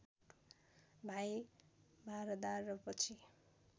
भाइ भारदार र पछि